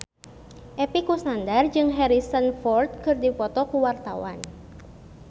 Epy Kusnandar jeung Harrison Ford keur dipoto ku wartawan